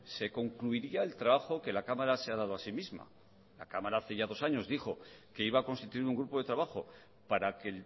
se concluiría el trabajo que la cámara se ha dado a sí misma la cámara hace ya dos años dijo que iba a constituir un grupo de trabajo para que